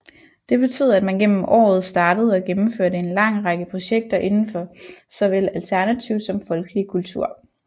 Det betød at man gennem året startede og gennemførte en lang række projekter indenfor såvel alternativ som folkelig kultur